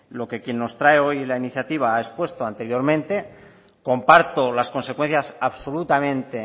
lo que quien nos trae hoy la iniciativa ha expuesto anteriormente comparto las consecuencias absolutamente